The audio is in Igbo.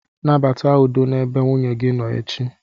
Nabata udo n'ebe nwunye gị nọ echi.